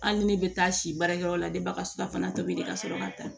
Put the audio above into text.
Hali ni ne bɛ taa si baarakɛyɔrɔ la de baga su ka tobi de ka sɔrɔ ka taa